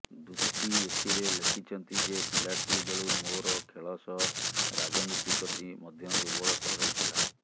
ଦୁତୀ ଏଥିରେ ଲେଖିଛନ୍ତି ଯେ ପିଲାଟି ବେଳୁ ମୋର ଖେଳ ସହ ରାଜନୀତି ପ୍ରତି ମଧ୍ୟ ଦୁର୍ବଳତା ରହିଥିଲା